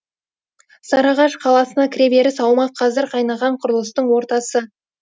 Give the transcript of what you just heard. сарыағаш қаласына кіреберіс аумақ қазір қайнаған құрылыстың ортасы